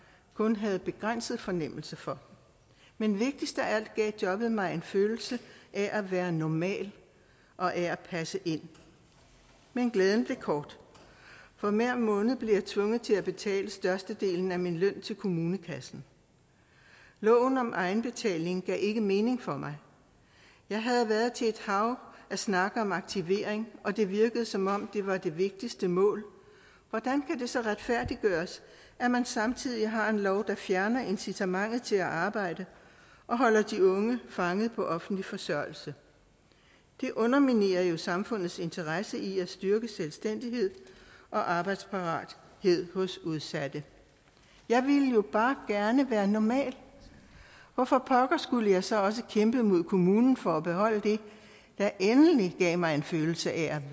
kun havde begrænset fornemmelse for men vigtigst af alt gav jobbet mig en følelse af at være normal og af at passe ind men glæden blev kort for hver måned blev jeg tvunget til at betale størstedelen af min løn til kommunekassen loven om egenbetaling gav ikke mening for mig jeg havde været til et hav af snakke om aktivering og det virkede som om det var det vigtigste mål hvordan kan det så retfærdiggøres at man samtidig har en lov der fjerner incitamentet til at arbejde og holder de unge fanget på offentlig forsørgelse det underminerer jo samfundets interesse i at styrke selvstændighed og arbejdsparathed hos udsatte jeg ville jo bare gerne være normal hvorfor pokker skulle jeg så også kæmpe mod kommunen for at beholde det der endelig gav mig en følelse af at